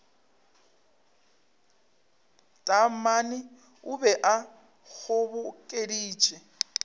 taamane o be a kgobokeditše